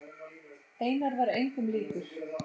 Einar var engum líkur.